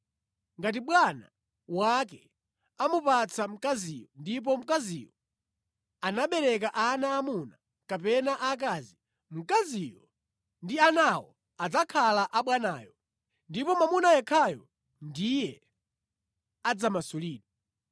Ngati bwana wake amupatsa mkazi ndipo mkaziyo anabereka ana aamuna kapena aakazi, mkazi ndi anawo adzakhala a bwanayo ndipo mwamuna yekhayo ndiye adzamasulidwe.